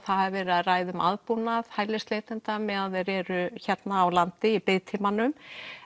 það hafi verið að ræða aðbúnað hælisleitenda meðan þeir eru hérna á landi í biðtímanum